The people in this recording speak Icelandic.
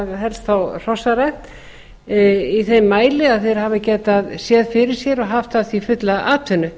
helst þá hrossarækt í þeim mæli að þeir hafi getað séð fyrir sér og haft af því fulla atvinnu